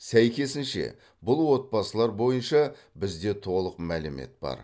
сәйкесінше бұл отбасылар бойынша бізде толық мәлімет бар